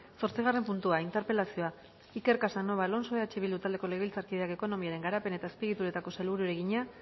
zortzigarren puntua interpelazioa iker casanova alonso eh bildu taldeko legebiltzarkideak ekonomiaren garapen eta azpiegituretako sailburuari egina